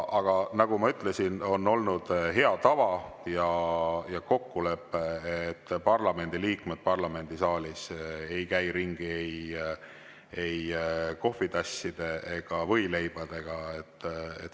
Aga nagu ma ütlesin, on olnud hea tava ja kokkulepe, et parlamendiliikmed parlamendisaalis ei käi ringi ei kohvitasside ega võileibadega.